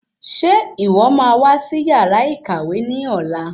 Ṣe ìwọ máa wá sí yàrá ìkàwé ní ọ̀la